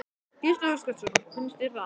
Gísli Óskarsson: Finnst þér það?